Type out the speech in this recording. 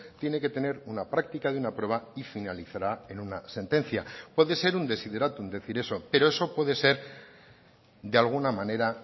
tiene que tener una práctica de una prueba y finalizará en una sentencia puede ser un desiderátum decir eso pero eso puede ser de alguna manera